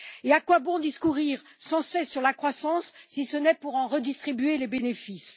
À quoi bon discourir sans cesse sur la croissance si ce n'est pour en redistribuer les bénéfices?